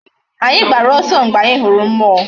Anyi gbara oso mgbe anyi huru mmuo